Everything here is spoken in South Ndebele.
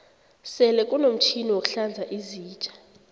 sele kunomtjhini wokuhlanza izitja